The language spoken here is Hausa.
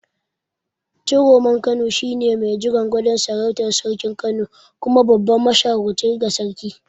Ciroman Kano shine mai jiran gadon sarautar Sarkin Kano kuma babban mashawarci ga sarki.